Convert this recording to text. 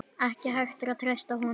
Ekki hægt að treysta honum.